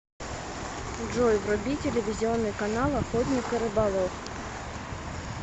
джой вруби телевизионный канал охотник и рыболов